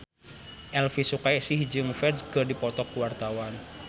Elvy Sukaesih jeung Ferdge keur dipoto ku wartawan